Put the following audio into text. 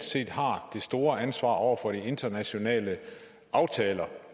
set har det store ansvar over for de internationale aftaler